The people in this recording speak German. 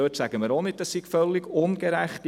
Dort sagen wir auch nicht, es sei völlig ungerecht.